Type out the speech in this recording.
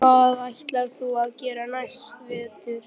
En hvað ætlar þú að gera næsta vetur?